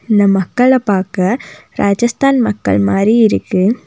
இந்த மக்கள பாக்க ராஜஸ்தான் மக்கள் மாறி இருக்கு.